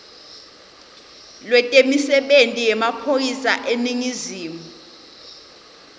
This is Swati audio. lwetemisebenti yemaphoyisa eningizimu